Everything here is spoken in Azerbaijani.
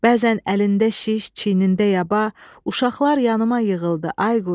Bəzən əlində şiş, çiynində yaba, uşaqlar yanıma yığıldı, Ayquş.